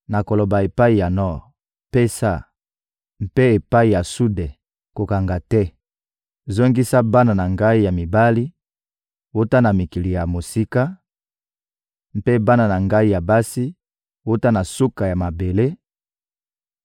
nakoloba epai ya nor: ‹Pesa,› mpe epai ya sude: ‹Kokanga te.› Zongisa bana na Ngai ya mibali wuta na mikili ya mosika, mpe bana na Ngai ya basi wuta na suka ya mabele,